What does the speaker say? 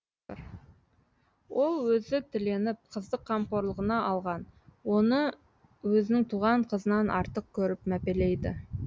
ол өзі тіленіп қызды қамқорлығына алған оны өзінің туған қызынан артық керіп мәпелейді